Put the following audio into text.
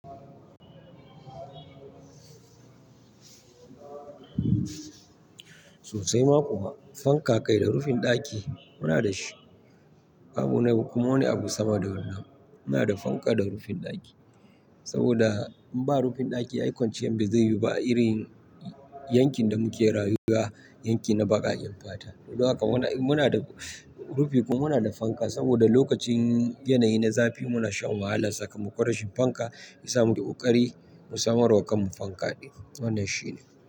Sosai ma kuwa, fanka kai da rufin ɗaki muna da shi. Babu wani kuma wani abu sama da wannan. Muna da fanka da rufin ɗaki. Saboda in ba rufin ɗaki, ai kwanciyar ba zai yiwu ba a irin yankin da muke rayuwa, yanki na baƙaƙen fata. Don haka muna, muna da rufi kuma muna da fanka saboda lokacin yanayi na zafi muna shan wahala. Sakamakon rashin fanka, shi ya sa muke ƙoƙari mu samar wa kan mu fanka ɗin. Wannan shi ne.